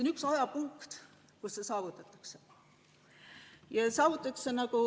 On üks ajapunkt, kus see saavutatakse.